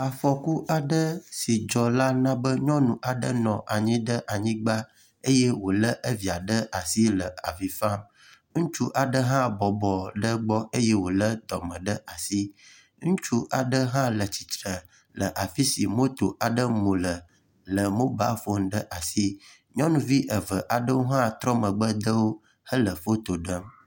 Afɔku aɖe si dzɔ la na be nyɔnu aɖe nɔ anyi ɖe anyigba eye wo le evia ɖe asi le avi fam. Ŋutsu aɖe hã bɔbɔ ɖe egbɔ eye wo le dɔme ɖe asi. Ŋutsu aɖe hã le tsitre le afi si moto aɖe mu le le mobile foni ɖe asi. Nyɔnuvi eve aɖewo hã trɔ megbe dewo hele foto ɖem.